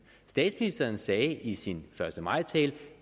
statsministeren sagde i sin første maj tale